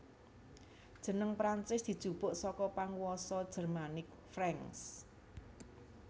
Jeneng Prancis dijupuk saka panguwasa Jermanik Franks